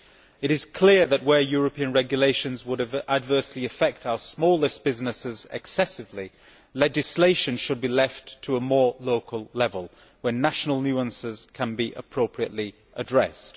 It is clear that, in cases where European regulations would adversely affect our smallest businesses excessively, legislation should be left to a more local level where national nuisances can be appropriately addressed.